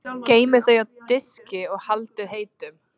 Geymið þau á diski og haldið heitum.